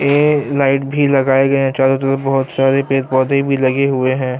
یہ لیٹ بھی لگیی گیی ہیں چارو طرف بہت سارے پیڈ پودھے بھی لگے ہوئے ہیں-